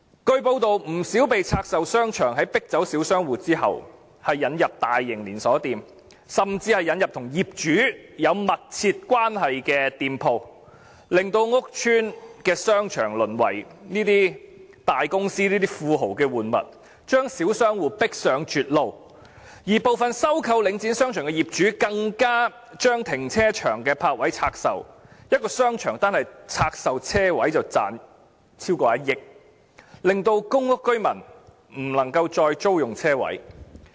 據報道，不少被拆售的商場在迫走小商戶後引入大型連鎖店，甚至引入與業主有密切關係的店鋪，令屋邨的商場淪為這些大公司、這些富豪的玩物，將小商戶迫上絕路，而部分收購領展商場的業主更將停車場的泊位拆售，一個商場單是拆售車位便賺取超過1億元，令公屋民居不能夠再租用車位。